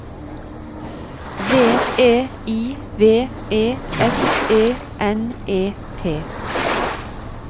V E I V E S E N E T